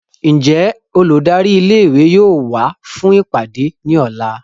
Njẹ oludari ìlé-ìwé yóò wa fun ipade ni ọla?